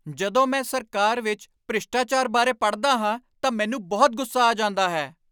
ਜਦੋਂ ਮੈਂ ਸਰਕਾਰ ਵਿੱਚ ਭ੍ਰਿਸ਼ਟਾਚਾਰ ਬਾਰੇ ਪੜ੍ਹਦਾ ਹਾਂ ਤਾਂ ਮੈਨੂੰ ਬਹੁਤ ਗੁੱਸਾ ਆ ਜਾਂਦਾ ਹੈ।